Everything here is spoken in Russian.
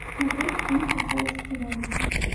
смотреть фильм красавица и чудовище